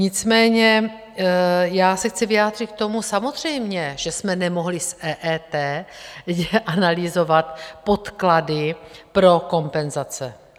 Nicméně já se chci vyjádřit k tomu - samozřejmě, že jsme nemohli z EET analyzovat podklady pro kompenzace.